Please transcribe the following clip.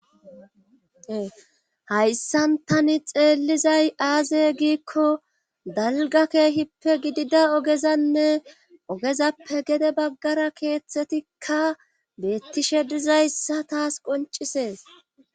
ehayssantani xeellizay aaze giikko dalga keehippe gidida ogezanne ogezappe gede baggara keeththetikka beettishe dizayssa taas qoncisees